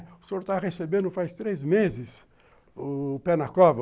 É, o senhor tá recebendo faz três meses o pé na cova.